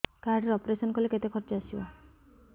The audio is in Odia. କାର୍ଡ ରେ ଅପେରସନ କଲେ କେତେ ଖର୍ଚ ଆସିବ